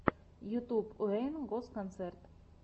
ютьюб уэйн госс концерт